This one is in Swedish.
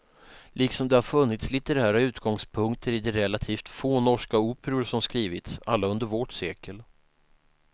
Liksom det har funnits litterära utgångspunkter i de relativt få norska operor som skrivits, alla under vårt sekel.